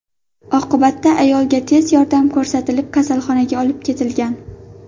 Oqibatda ayolga tez yordam ko‘rsatilib, kasalxonaga olib ketilgan.